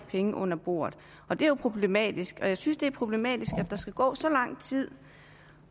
penge under bordet det er jo problematisk og jeg synes også det er problematisk at der skal gå så lang tid